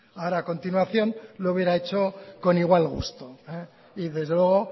ahora a continuación lo hubiera hecho con igual gusto y desde luego